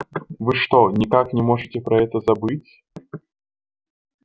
вы что никак не можете про это забыть